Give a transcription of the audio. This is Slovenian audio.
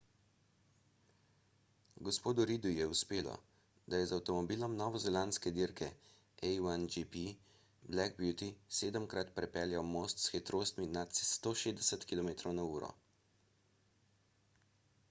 g. reidu je uspelo da je z avtomobilom novozelandske dirke a1gp black beauty sedemkrat prepeljal most s hitrostmi nad 160 km/h